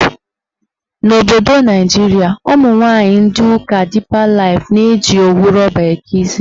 N'obodo Naijiria, ụmụnwaanyị ndị ụka Dipa Laif na-eji owu rọba eke isi.